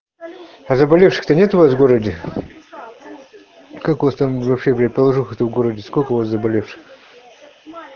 а заболевших то нет у вас в городе как у вас там вообще блять положуха в городе сколько у вас заболевших